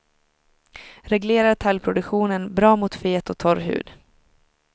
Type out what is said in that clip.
Reglerar talgproduktionen, bra mot fet och torr hud.